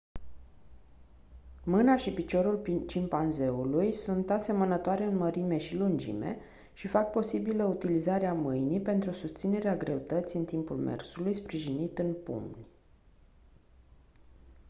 mâna și piciorul cimpanzeului sunt asemănătoare în mărime și lungime și fac posibilă utilizarea mâinii pentru susținerea greutății în timpul mersului sprijinit în pumni